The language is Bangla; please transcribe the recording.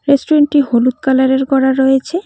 রেস্টুরেন্টটি হলুদ কালারের করা রয়েছে।